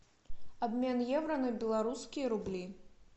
обмен евро на белорусские рубли